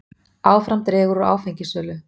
Áfram dregur úr áfengissölu